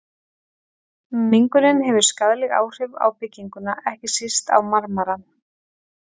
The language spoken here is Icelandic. Mengunin hefur skaðleg áhrif á bygginguna, ekki síst á marmarann.